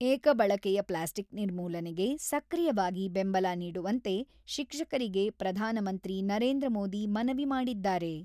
ಏಕ ಬಳಕೆಯ ಪ್ಲಾಸ್ಟಿಕ್ ನಿರ್ಮೂಲನೆಗೆ ಸಕ್ರಿಯವಾಗಿ ಬೆಂಬಲ ನೀಡುವಂತೆ ಶಿಕ್ಷಕರಿಗೆ ಪ್ರಧಾನಮಂತ್ರಿ ನರೇಂದ್ರ ಮೋದಿ ಮನವಿ ಮಾಡಿದ್ದಾರೆ.